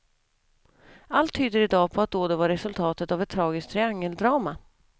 Allt tyder i dag på att dådet var resultatet av ett tragiskt triangeldrama.